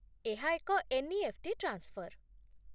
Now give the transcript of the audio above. ଏହା ଏକ NEFT. Transfer